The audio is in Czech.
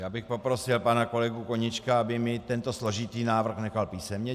Já bych poprosil pana kolegu Koníčka, aby mi tento složitý návrh nechal písemně.